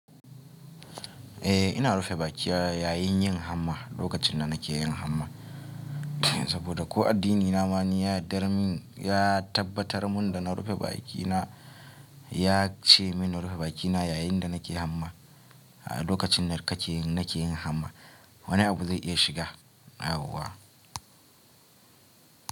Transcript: Eh ina rufe baki na yayin yin hamma lokacin da nake yin hamma, saboda ko addinina ma ya dar min, ya tabbatar mun da na rufe bakina, ya ce min na rufe bakina yayin da nake hamma. A lokacin da kake nake yin hamma wani abu zai iya shiga yauwa.